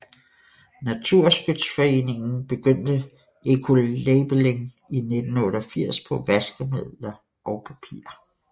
Naturskyddsföreningen begyndte ecolabelling i 1988 på vaskemidler og papir